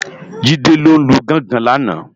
Jide ló lú gòngòn làná